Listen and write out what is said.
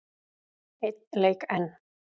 Einn leik enn?